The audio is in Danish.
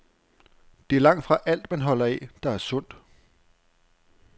Det er langtfra alt, man holder af, der er sundt.